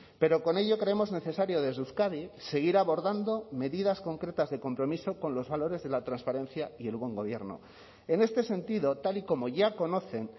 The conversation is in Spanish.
pero con ello creemos necesario desde euskadi seguir abordando medidas concretas de compromiso con los valores de la transparencia y el buen gobierno en este sentido tal y como ya conocen